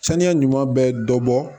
Saniya ɲuman bɛ dɔ bɔ